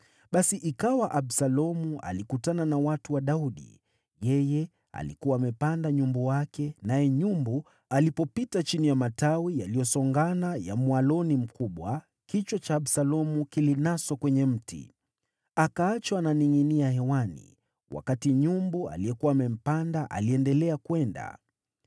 Basi ikawa Absalomu alikutana na watu wa Daudi. Yeye alikuwa amepanda nyumbu wake, naye nyumbu alipopita chini ya matawi yaliyosongana ya mwaloni mkubwa, kichwa cha Absalomu kilinaswa kwenye mti. Akaachwa akiningʼinia hewani, wakati nyumbu aliyekuwa amempanda aliendelea kwenda.